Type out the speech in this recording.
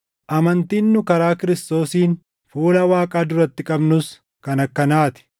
Amantiin nu karaa Kiristoosiin fuula Waaqaa duratti qabnus kan akkanaa ti.